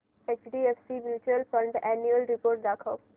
HDFC mutual fund annual report दाखव